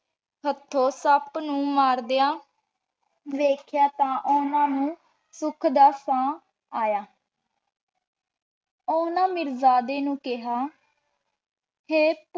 ਹਾਥੀ ਸਾਪ ਨੂ ਮਾਰ੍ਦ੍ਯਾਂ ਵੇਖ੍ਯਾਤਾਂ ਓਹਨਾਂ ਨੂ ਸੁਖ ਦਾ ਸਾਹ ਯਾ ਹਨ ਓਹਨਾਂ ਮਿਰ੍ਜ਼ਾਡੀ ਨੂ ਕੇਹਾ ਕੇ